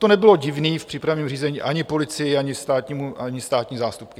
To nebylo divné v přípravném řízení ani policii, ani státní zástupkyni.